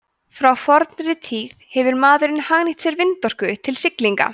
frá fornri tíð hefur maðurinn hagnýtt sér vindorku til siglinga